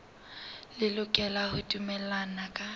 le lokela ho dumellana ka